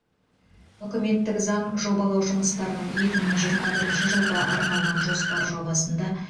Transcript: үкіметтің заң жобалау жұмыстарының екі мың жиырма бірінші жылға арналған жоспар жобасында